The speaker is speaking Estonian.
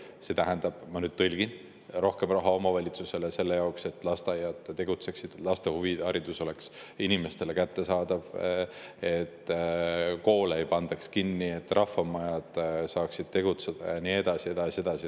See tähendab – ma nüüd tõlgin – rohkem raha omavalitsustele selle jaoks, et lasteaiad tegutseksid, et laste huviharidus oleks inimestele kättesaadav, et koole ei pandaks kinni, et rahvamajad saaksid tegutseda ja nii edasi, ja nii edasi.